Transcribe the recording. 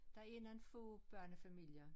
Det er nogen få børnefamilier